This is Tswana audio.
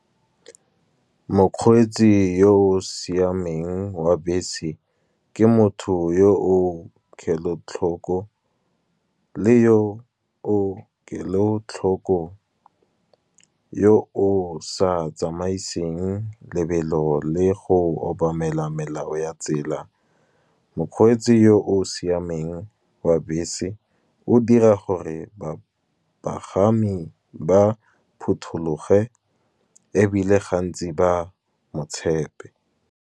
Mokgweetsi yo o siameng wa bese ke motho yo o kelotlhoko, le yo o kelotlhoko yo o sa tsamaiseng lebelo le go obamela melao ya tsela. Mokgweetsi yo o siameng o a bese, o dira gore bapagami ba phuthologe, ebile gantsi ba motshepe.